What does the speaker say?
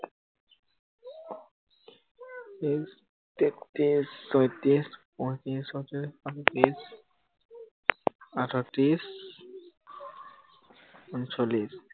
উহ তেত্ৰিশ চৌত্ৰিশ, পয়ত্ৰিশ ছয়ত্ৰিশ, সাতত্ৰিশ, আঠত্ৰিশ উনচল্লিশ